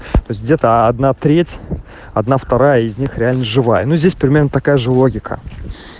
то есть где то одна треть одна вторая из них реально живая но здесь примерно такая же логика